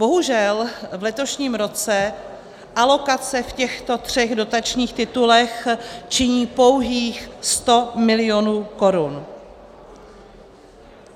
Bohužel v letošním roce alokace v těchto třech dotačních titulech činí pouhých 100 milionů korun.